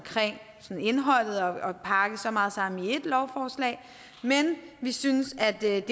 sådan indholdet og at pakke så meget sammen i ét lovforslag men vi synes at det er